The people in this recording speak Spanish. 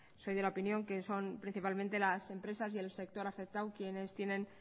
soy de la opinión que son principalmente las empresas y el sector afectado quienes tienen